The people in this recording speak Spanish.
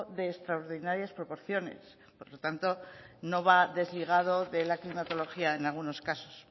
de extraordinarias proporciones por lo tanto no va desligado de la climatología en algunos casos